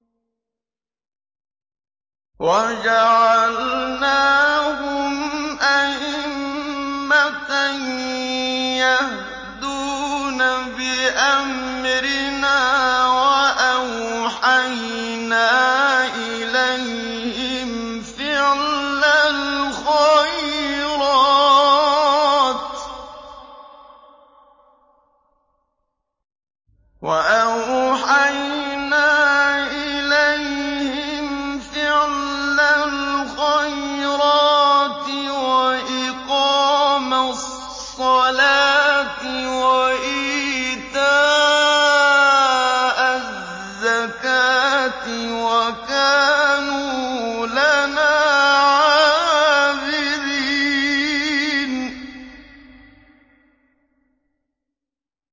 وَجَعَلْنَاهُمْ أَئِمَّةً يَهْدُونَ بِأَمْرِنَا وَأَوْحَيْنَا إِلَيْهِمْ فِعْلَ الْخَيْرَاتِ وَإِقَامَ الصَّلَاةِ وَإِيتَاءَ الزَّكَاةِ ۖ وَكَانُوا لَنَا عَابِدِينَ